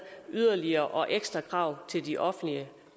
yderligere og ekstra krav til de offentlige